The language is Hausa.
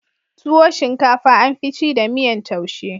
Tuwo shinkafa an fi ci da miyan taushe